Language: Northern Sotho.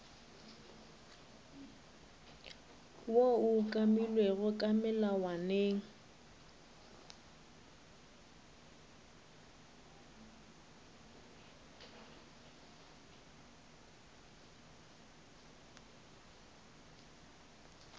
woo o umakilwego ka melawaneng